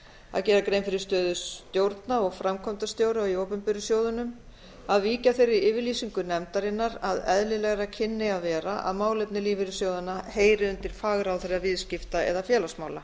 að gera grein fyrir stöðu stjórna og framkvæmdastjóra í opinberu sjóðunum að víkja þeirri yfirlýsingu nefndarinnar að eðlilegra kynni að vera að málefni lífeyrissjóðanna heyri undir fagráðherra viðskipta eða félagsmála